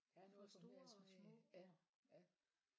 Der er noget for enhver smag ja ja